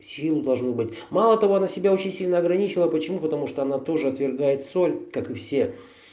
сил должно быть мало того она себя очень сильно ограничила почему потому что она тоже отвергает соль как и все